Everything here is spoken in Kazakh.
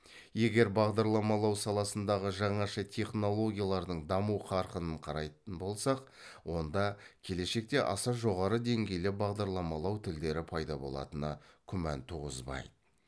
егер бағдарламалау саласындағы жаңаша технологиялардың даму қарқынын қарайтын болсақ онда келешекте аса жоғарғы деңгейлі бағдарламалау тілдері пайда болатыны күмән туғызбайды